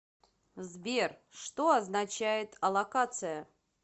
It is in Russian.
сбер что означает аллокация